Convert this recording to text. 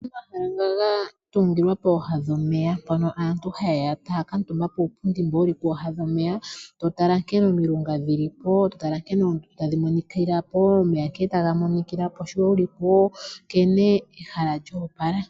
Opuna omahala nga gatungilwa pooha dhomeya. Mpono aantu hayeya taya kuutumba puupundi mbo wuli pooha dhomeya totala nkene omilunga dhili po, totala nkene oondundu tadhi monikila po, omeya nkene taga monikila po sho wuli po ,nkene ehala lyoopala.